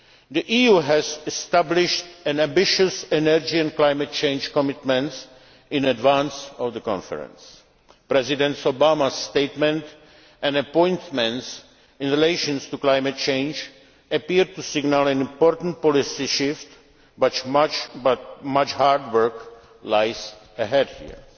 change. The EU has established ambitious energy and climate change commitments in advance of the conference. President Obama's statements and appointments in relation to climate change appear to signal an important policy shift, but much hard work lies